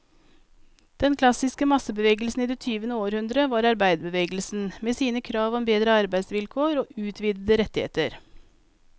Den klassiske massebevegelsen i det tyvende århundre var arbeiderbevegelsen, med sine krav om bedre arbeidsvilkår og utvidede rettigheter.